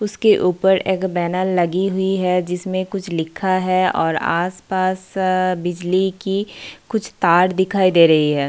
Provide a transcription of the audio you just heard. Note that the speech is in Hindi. उसके ऊपर एक बैनर लगी हुई है जिसमें कुछ लिखा है और आस-पास अ बिजली की कुछ तार दिखाई दे रही हैं।